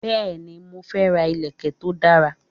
Bẹ́ẹ̀ni, mo fe ra ìlèkè to dara